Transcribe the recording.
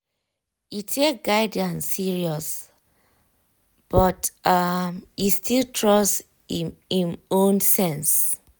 e take guidance seriously but um e still trust im im own sense.